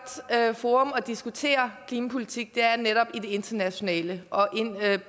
forum at diskutere klimapolitik netop det internationale